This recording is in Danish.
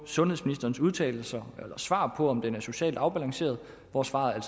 sundhedsministerens udtalelser eller svar på om den er socialt afbalanceret hvor svaret